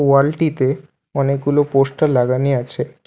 ওয়াল -টিতে অনেকগুলো পোস্টার লাগানি আছে।